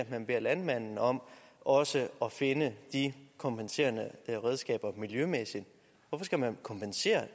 man beder landmanden om også at finde de kompenserende redskaber miljømæssigt hvorfor skal man kompensere